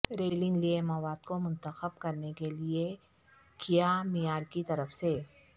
railing لئے مواد کو منتخب کرنے کے لئے کیا معیار کی طرف سے